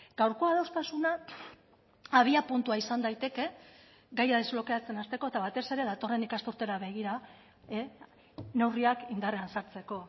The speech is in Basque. gaurko adostasuna abiapuntua izan daiteke gaia desblokeatzen hasteko eta batez ere datorren ikasturtera begira neurriak indarrean sartzeko